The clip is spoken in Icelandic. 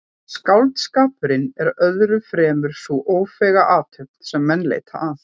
Skáldskapurinn er öðru fremur sú ófeiga athöfn sem menn leita að.